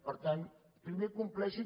per tant primer compleixin